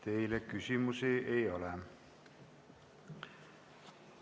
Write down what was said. Teile küsimusi ei ole.